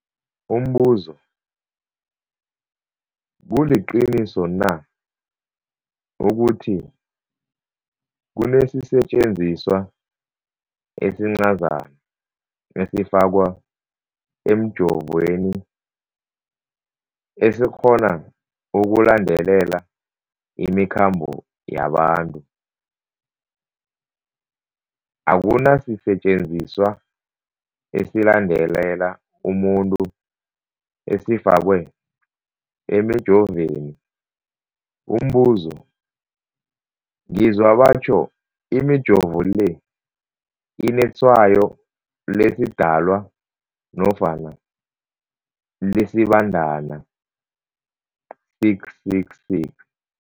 Umbuzo, kuliqiniso na ukuthi kunesisetjenziswa esincazana esifakwa emijovweni, esikghona ukulandelela imikhambo yabantu? Akuna sisetjenziswa esilandelela umuntu esifakwe emijoveni. Umbuzo, ngizwa batjho imijovo le inetshayo lesiDalwa nofana lesiBandana 666.